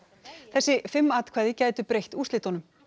þessi fimm atkvæði gætu breytt úrslitunum